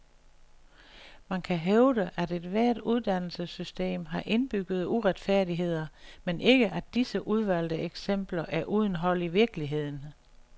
Man kan hævde, at ethvert uddannelsessystem har indbyggede uretfærdigheder, men ikke at disse udvalgte eksempler er uden hold i virkeligheden.